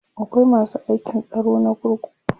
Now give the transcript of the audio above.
akwai masu aikin tsaro na kurkuku